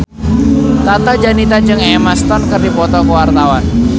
Tata Janeta jeung Emma Stone keur dipoto ku wartawan